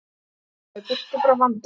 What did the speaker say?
Hlaupa í burtu frá vandanum.